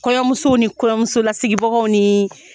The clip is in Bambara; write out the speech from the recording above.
Kɔɲɔmuso ni kɔɲɔmuso lasigibagaw ni